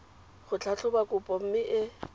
go tlhatlhoba kopo mme e